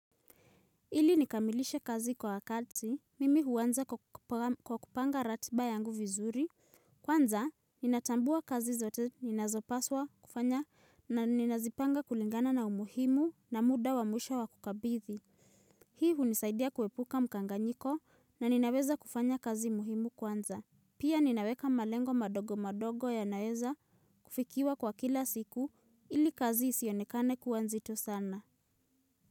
Ili nikamilishe kazi kwa wakati, mimi huanza kwa kupanga ratiba yangu vizuri. Kwanza, ninatambua kazi zote ninazopaswa kufanya na ninazipanga kulingana na umuhimu na muda wa mwisho wa kukabidhi. Hii hunisaidia kuepuka mkanganyiko na ninaweza kufanya kazi muhimu kwanza. Pia ninaweka malengo madogo madogo yanayoweza kufikiwa kwa kila siku ili kazi isionekane kuwa nzito sana.